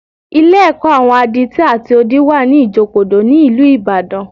Ilé-ẹ̀kọ́ àwọn adití àti odi wà ní Ìjokòdó, ní ìlú Ìbàdàn